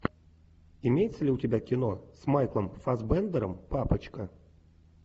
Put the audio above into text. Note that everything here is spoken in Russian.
имеется ли у тебя кино с майклом фассбендером папочка